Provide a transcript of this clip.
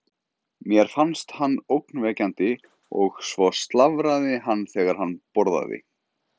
Mér fannst hann ógnvekjandi og svo slafraði hann þegar hann borðaði.